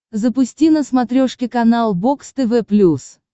запусти на смотрешке канал бокс тв плюс